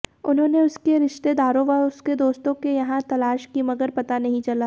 उन्होंने उसकी रिश्तेदारों व उसके दोस्तों के यहां तलाश की मगर पता नहीं चला